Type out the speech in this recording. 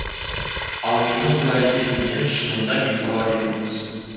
ал менің бұл әрекетімнен шынында бейхабар едіңіз